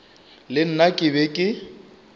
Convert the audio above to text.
le nna ke be ke